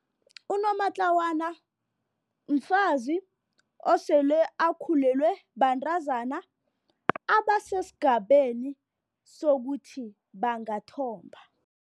Unomatlawana mfazi osele akhulelwe bantazana abasesigabeni sokuthi bangathomba.